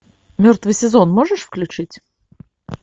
мертвый сезон можешь включить